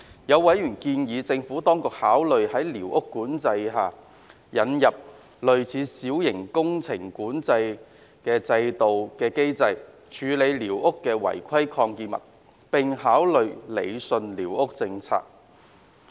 有委員建議政府當局考慮在寮屋管制制度下，引入類似小型工程監管制度的機制，處理寮屋的違規擴建物，並考慮理順寮屋管制政策。